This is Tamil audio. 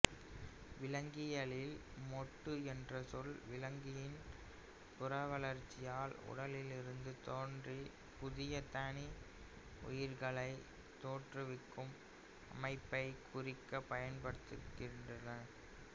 விலங்கியலில் மொட்டு என்ற சொல் விலங்கின் புறவளர்ச்சியால் உடலிலிருந்து தோன்றி புதிய தனி உயிரிகளை தோற்றுவிக்கும் அமைப்பைக் குறிக்கப் பயன்படுத்தப்படுகிறது